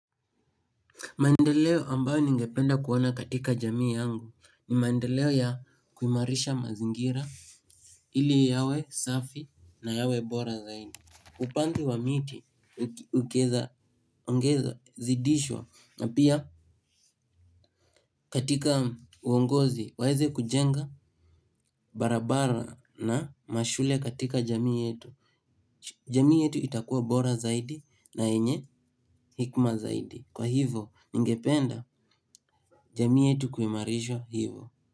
Maendeleo ambayo ningependa kuona kati jamii yangu ni maendeleo ya kuimarisha mazingira ili yawe safi na yawe bora zaidi. Upanzi wa miti ukieza ongeza zidishwa na pia katika uongozi waeze kujenga barabara na mashule katika jamii yetu. Jamii yetu itakua bora zaidi na yenye hekima zaidi. Kwa hivo ningependa jamii yetu kuimarishwa hivo.